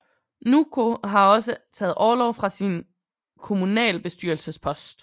Nûko har også taget orlov fra sin kommunalbestyrelsespost